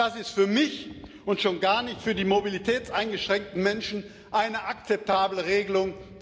Das ist für mich und erst recht für die mobilitätseingeschränkten Menschen keine akzeptable Regelung.